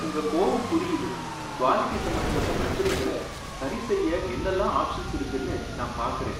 உங்க கோவம் புரியுது, குவாலிடி சம்பந்தப்பட்ட பிரச்சனைங்களை சரிசெய்ய என்னல்லாம் ஆப்ஷன்ஸ் இருக்குன்னு நான் பாக்குறேன்.